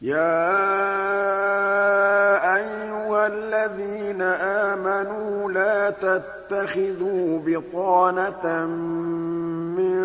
يَا أَيُّهَا الَّذِينَ آمَنُوا لَا تَتَّخِذُوا بِطَانَةً مِّن